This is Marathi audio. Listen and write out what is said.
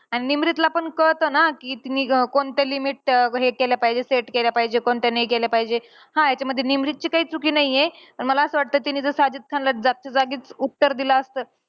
आणि निमरीतला पण कळतं ना, कि मी अं कोणत्या limit हे केल्या पाहिजे, set केल्या पाहिजे. कोणत्या नाही केल्या पाहिजे. हा ह्याच्यामध्ये निमरीतची काही चुकी नाहीये. पण मला असं वाटतं कि तिने जर साजिद खानला तिने जर जागच्या जागी उपचार दिला असता.